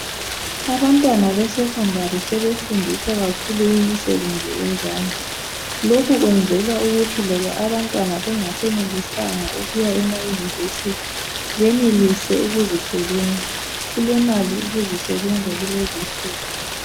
Abantwana besekhondari sebefundiswa kakhulu imisebenzi yezandla lokhu kwenzelwa ukuthi loba abantwana bengasenelisanga ukuya ema yunivesithi benelise ukuzisebenza kulemali ukuzi sebenza kulezi nsuku